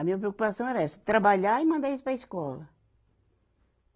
A minha preocupação era essa, trabalhar e mandar eles para a escola.